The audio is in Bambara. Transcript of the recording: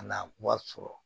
Ka na wari sɔrɔ